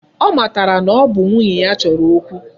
Ọ matara na ọ bụ nwunye ya chọrọ okwu.